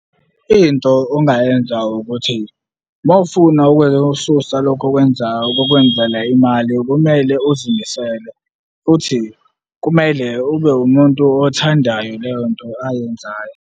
Into ongayenza ukuthi, uma ufuna ukususa lokho okwenzayo kokwenzela imali kumele uzimisele futhi kumele ube wumuntu othandayo leyo nto ayenzayo.